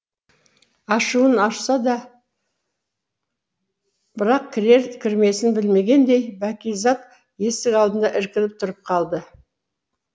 ашуын ашса да бірақ кірер кірмесін білмегендей бәкизат есік алдында іркіліп тұрып қалды